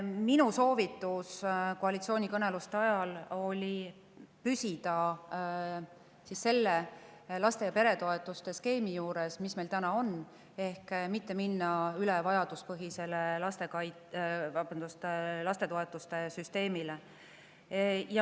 Minu soovitus koalitsioonikõneluste ajal oli püsida selle laste- ja peretoetuste skeemi juures, mis meil täna on – mitte minna üle vajaduspõhisele lastetoetuste süsteemile.